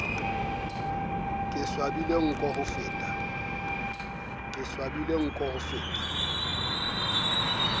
ke swabile nko ho feta